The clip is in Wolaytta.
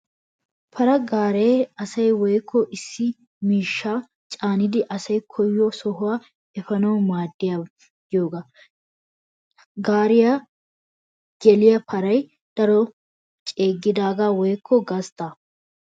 Paraa gaaree asaa woykko issi issi miishshaa caanidi asay koyido sohuwa efaanawu maaddiyaaba giyoogaa. Gaariyan geliyaa paray darotoo ceeggidaagaa woykko gasttaa.